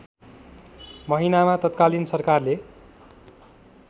महिनामा तत्कालीन सरकारले